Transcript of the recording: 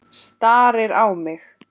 Starir á mig.